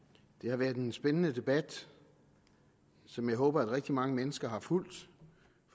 det har været en spændende debat som jeg håber rigtig mange mennesker har fulgt